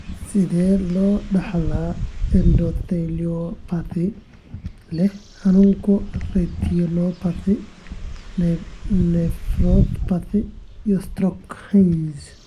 Sidee loo dhaxlaa endotheliopathy ee leh xanuunka 'retinopathy', nephropathy, iyo stroke (HERNS)?